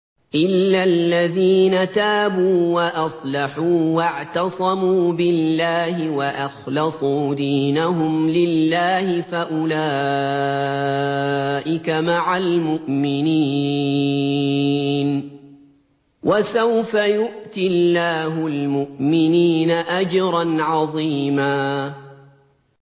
إِلَّا الَّذِينَ تَابُوا وَأَصْلَحُوا وَاعْتَصَمُوا بِاللَّهِ وَأَخْلَصُوا دِينَهُمْ لِلَّهِ فَأُولَٰئِكَ مَعَ الْمُؤْمِنِينَ ۖ وَسَوْفَ يُؤْتِ اللَّهُ الْمُؤْمِنِينَ أَجْرًا عَظِيمًا